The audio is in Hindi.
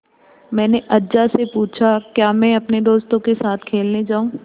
मैंने अज्जा से पूछा क्या मैं अपने दोस्तों के साथ खेलने जाऊँ